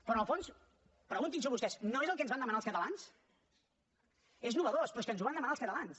però en el fons preguntin s’ho vostès no és el que ens van demanar els catalans és nou però és que ens ho van demanar els catalans